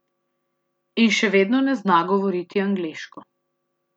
In še vedno ne zna govoriti angleško.